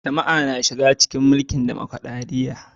Jama'a na shiga cikin tsarin mulkin dimokradiyya.